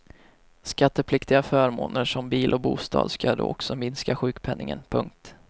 Skattepliktiga förmåner som bil och bostad ska då också minska sjukpenningen. punkt